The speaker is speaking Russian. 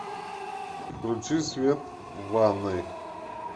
включи свет в ванной